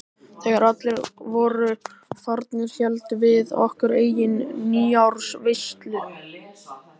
Þegar allir voru farnir héldum við okkar eigin nýársveislu.